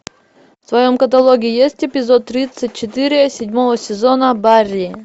в твоем каталоге есть эпизод тридцать четыре седьмого сезона барри